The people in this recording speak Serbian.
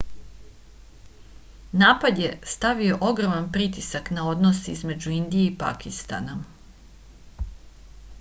napad je stavio ogroman pritisak na odnose između indije i pakistana